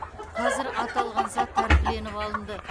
қазір аталған зат тәркіленіп алынды